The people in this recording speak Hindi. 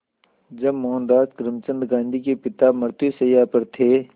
जब मोहनदास करमचंद गांधी के पिता मृत्युशैया पर थे